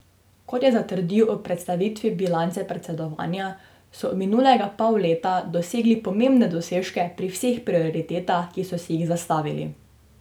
Kot je zatrdil ob predstavitvi bilance predsedovanja, so v minulega pol leta dosegli pomembne dosežke pri vseh prioritetah, ki so si jih zastavili.